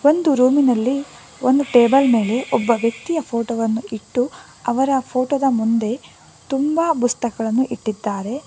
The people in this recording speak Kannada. ಒಂದು ರೂಮಿನಲ್ಲಿ ಒನ್ ಟೇಬಲ್ ಮೇಲೆ ಒಬ್ಬ ವ್ಯಕ್ತಿಯ ಫೋಟೋ ವನ್ನು ಇಟ್ಟು ಅವನ ಫೋಟೋ ದ ಮುಂದೆ ತುಂಬಾ ಪುಸ್ತಕಗಳನ್ನು ಇಟ್ಟಿದ್ದಾರೆ.